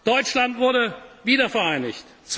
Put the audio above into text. Vorhang. Deutschland wurde wiedervereinigt.